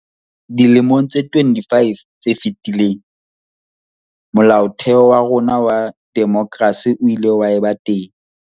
Dilemong tse 25 tse fetileng, Molaotheo wa rona wa demokrasi o ile wa eba teng.